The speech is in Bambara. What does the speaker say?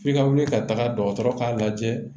F'i ka wuli ka taga dɔgɔtɔrɔ k'a lajɛ